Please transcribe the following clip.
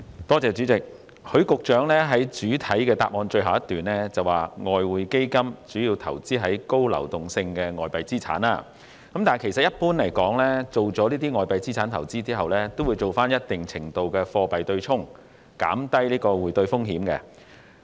代理主席，許局長在主體答覆的最後一段提到"外匯基金主要投資高流動性的外幣資產"，但一般而言，進行外幣資產投資後，亦會進行一定程度的貨幣對沖，以減低匯兌風險。